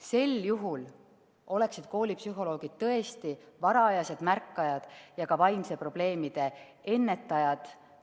Sel juhul oleksid koolipsühholoogid tõesti varajased märkajad ja vaimsete probleemide ennetajad.